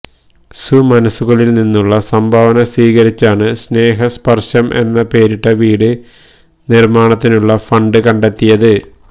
സുമനസുകളിൽ നിന്നുള്ള സംഭാവന സ്വീകരിച്ചാണ് സ്നേഹസ്പർശം എന്ന് പേരിട്ട വീട് നിർമാണത്തിനുള്ള ഫണ്ട് കണ്ടെത്തിയത്